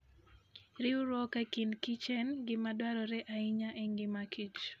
Riwruok e kind kichen gima dwarore ahinya e ngima kich